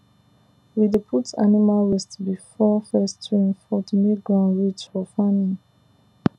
we dey put animal waste before first rain fall to make ground rich for farming